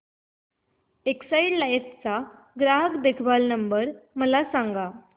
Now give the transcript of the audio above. Exide Life चा ग्राहक देखभाल नंबर मला सांगा